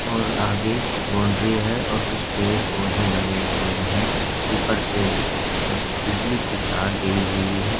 --और आगे एक बाउंड्री है और कुछ पेड़-पौधे लगे हैं ऊपर से बिजली की तार गयी हुई है।